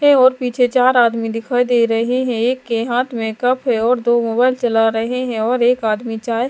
और पीछे चार आदमी दिखाई दे रहे हैं एक के हाथ में कप है और दो मोबाइल चला रहे हैं और एक आदमी चाय--